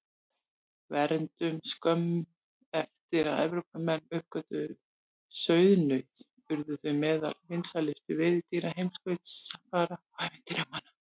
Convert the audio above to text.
Verndun Skömmu eftir að Evrópumenn uppgötvuðu sauðnaut urðu þau meðal vinsælustu veiðidýra heimskautsfara og ævintýramanna.